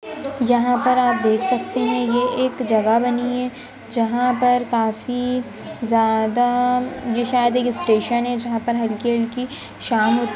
यहाँ पर आप देख सकते हैं ये एक जगह बनी है जहा पर काफी ज्यादा ये शायद एक स्टेशन है जहा पर हल्की हल्की शाम होती --